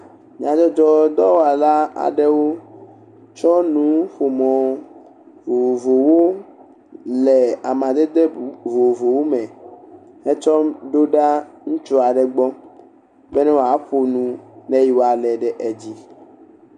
Nyadzɔdzɔdɔwɔla aɖewo tsɔ nuƒomɔ vovovowo le amadede vovovowo me hetsɔ do ɖa ŋutsu aɖe gbɔ bena woaƒo nu ne woalé ɖe edzi.